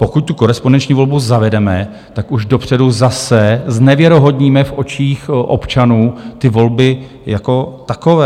Pokud tu korespondenční volbu zavedeme, tak už dopředu zase znevěrohodníme v očích občanů ty volby jako takové.